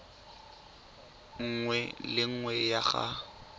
nngwe le nngwe ya go